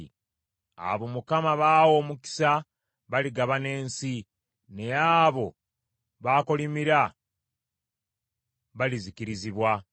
Abo Mukama b’awa omukisa baligabana ensi, naye abo b’akolimira balizikirizibwa.